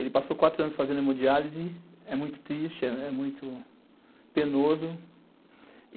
Ele passou quatro anos fazendo hemodiálise, é muito triste, é muito penoso.